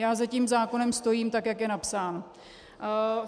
Já za tím zákonem stojím, tak jak je napsán.